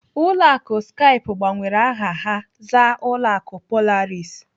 Ụlọ akụ Skype gbanwere aha ha zaa ụlọ akụ Polaris.